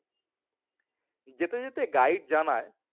যেতে যেতে গাইড জানায়